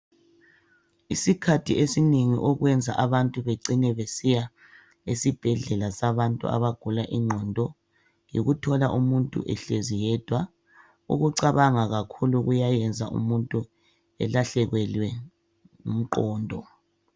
Isikhathi esinengi okwenza abantu bacine besiya esibhedlela sabantu abagula ingqondo yikuthola umuntu ehlezi yedwa ukucabanga kakhulu kwenza umuntu elahlekelwe ngumqondo.